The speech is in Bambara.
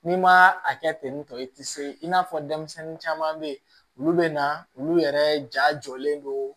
N'i ma a kɛ ten ntɔn i ti se i n'a fɔ denmisɛnnin caman be yen olu be na olu yɛrɛ ja jɔlen don